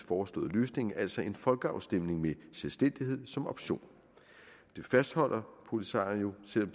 foreslåede løsning altså en folkeafstemning med selvstændighed som option det fastholder polisario selv